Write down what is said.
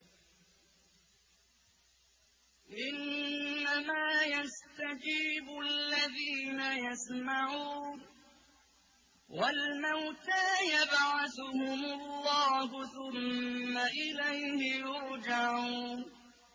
۞ إِنَّمَا يَسْتَجِيبُ الَّذِينَ يَسْمَعُونَ ۘ وَالْمَوْتَىٰ يَبْعَثُهُمُ اللَّهُ ثُمَّ إِلَيْهِ يُرْجَعُونَ